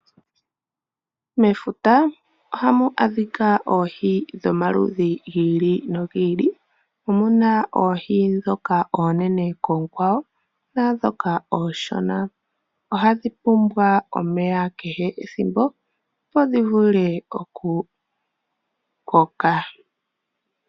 Mefuta ohamu adhika oohi dhomaludhi gi ili nogi ili. Omu na oohi ndhoka oonene koonkwawo naandhoka oonshona. Ohadhi pumbwa omeya kehe ethimbo opo dhi vule okukoka.